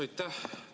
Aitäh!